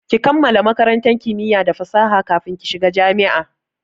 Ki kammala makarantar kimiya da fasaha kafin ki shiga jami'a!